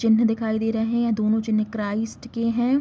चिन्हें दिखाई दे रहे है ये दोनों चिन्हें क्राइस्ट के है ।